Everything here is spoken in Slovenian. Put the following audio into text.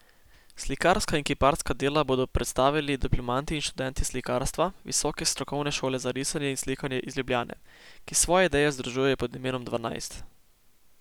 Slikarska in kiparska dela bodo predstavili diplomanti in študenti slikarstva Visoke strokovne šole za risanje in slikanje iz Ljubljane, ki svoje ideje združujejo pod imenom Dvanajst.